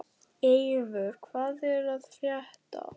Eivör, hvað er að frétta?